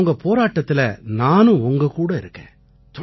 ஆனா உங்க போராட்டத்தில நானும் உங்ககூட இருக்கேன்